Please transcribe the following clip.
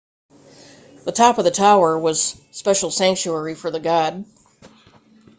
the top of the tower was special sanctuary for the god